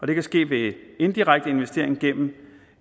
det kan ske ved indirekte investering gennem